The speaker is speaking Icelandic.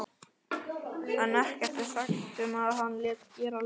en ekkert er sagt um að hann léti gera laug.